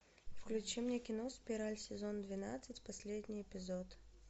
включи мне кино спираль сезон двенадцать последний эпизод